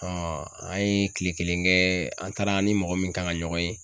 an ye kile kelen kɛ an taara an ni mɔgɔ min kan ka ɲɔgɔn ye.